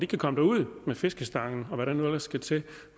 kan komme derud med fiskestangen og hvad der nu ellers skal til